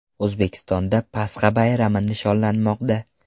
O‘zbekistonda Pasxa bayrami nishonlanmoqda.